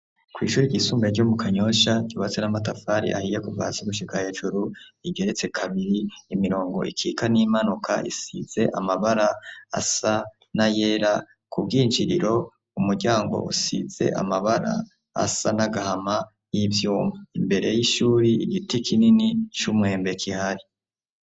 Kw' ishuri ryisumbuye ryo mu Kanyosha ryubatse n' amatafari ahiye kuva hasi gushika hejuru, rigeretse kabiri, imirongo ikitse n' iyimanuka isize asa n' ayera, ku bw' injiriro umuryango usize amabara asa n' agahama y' ivyuma. Imbere y' ishuri, igiti kinini c' umwembe kihari.